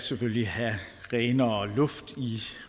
selvfølgelig have renere luft i